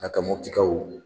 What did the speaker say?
A ka Moptikaw